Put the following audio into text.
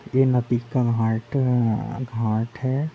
ये नदी का हाट घाट है।